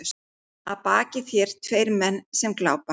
Að baki þér tveir menn sem glápa.